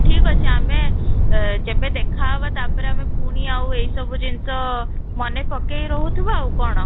ଠିକ ଅଛି ଆମେ ଆଃ ଯେବେ ଦେଖା ହେବା ତା'ପରେ ଆମେ ପୁଣି ଆଉ ଏଇ ସବୁ ଜିନିଷ ମନେ ପକେଇ ରହୁଥିବା ଆଉ କ'ଣ?